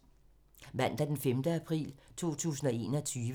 Mandag d. 5. april 2021